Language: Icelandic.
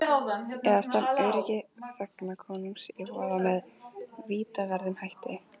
Eða stefnt öryggi þegna konungs í voða með vítaverðum hætti.